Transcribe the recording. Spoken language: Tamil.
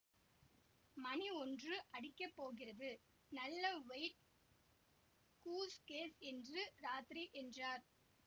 மணி ஒன்று அடிக்கப் போகிறது நல்ல வொயிட் கூஸ் கேஸ் இன்று ராத்திரி என்றார்